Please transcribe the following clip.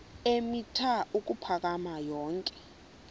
eemitha ukuphakama yonke